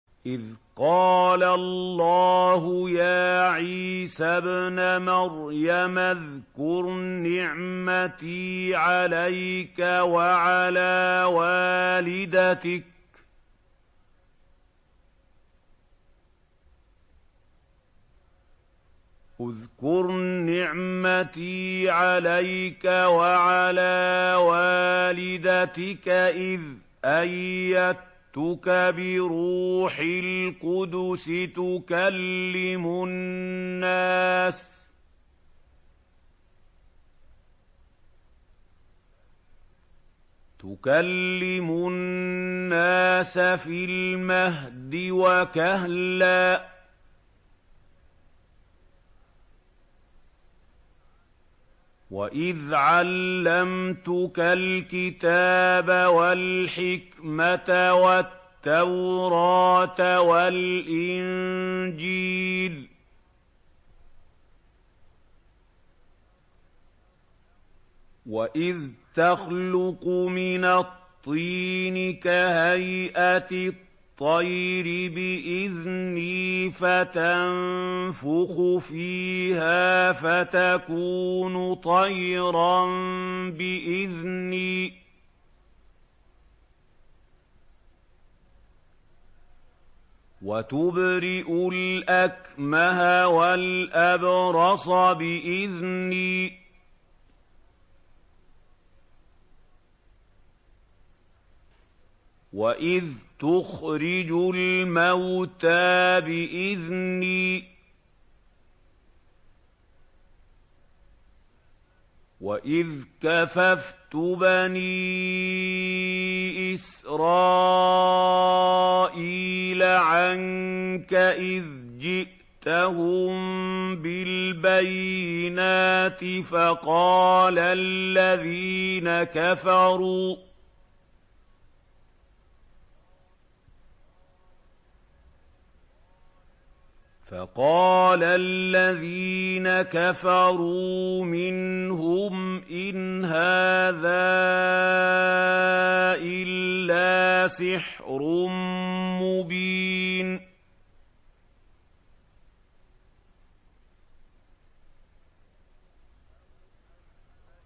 إِذْ قَالَ اللَّهُ يَا عِيسَى ابْنَ مَرْيَمَ اذْكُرْ نِعْمَتِي عَلَيْكَ وَعَلَىٰ وَالِدَتِكَ إِذْ أَيَّدتُّكَ بِرُوحِ الْقُدُسِ تُكَلِّمُ النَّاسَ فِي الْمَهْدِ وَكَهْلًا ۖ وَإِذْ عَلَّمْتُكَ الْكِتَابَ وَالْحِكْمَةَ وَالتَّوْرَاةَ وَالْإِنجِيلَ ۖ وَإِذْ تَخْلُقُ مِنَ الطِّينِ كَهَيْئَةِ الطَّيْرِ بِإِذْنِي فَتَنفُخُ فِيهَا فَتَكُونُ طَيْرًا بِإِذْنِي ۖ وَتُبْرِئُ الْأَكْمَهَ وَالْأَبْرَصَ بِإِذْنِي ۖ وَإِذْ تُخْرِجُ الْمَوْتَىٰ بِإِذْنِي ۖ وَإِذْ كَفَفْتُ بَنِي إِسْرَائِيلَ عَنكَ إِذْ جِئْتَهُم بِالْبَيِّنَاتِ فَقَالَ الَّذِينَ كَفَرُوا مِنْهُمْ إِنْ هَٰذَا إِلَّا سِحْرٌ مُّبِينٌ